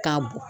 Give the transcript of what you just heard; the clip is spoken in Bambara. K'a bɔn